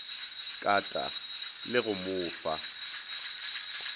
kata le go mo fa